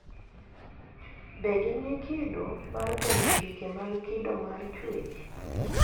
Be gin gi kido mar penjo chike mag kido mar chuech